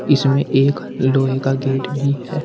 इसमें एक लोहे का गेट भी है।